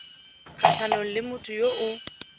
kgatlhanong le motho yo o